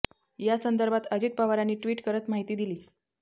या संदर्भात अजित पवारांनी ट्विट करत माहिती दिली